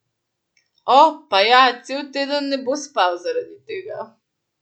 O, pa ja, cel teden ne bo spal zaradi tega.